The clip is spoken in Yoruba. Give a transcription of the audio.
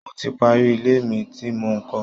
Mo ti parí ilé mi tí mò ń kọ́